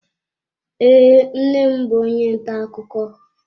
Ee, nne m bụ onye ntà akụkọ